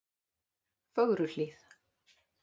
Fögruhlíð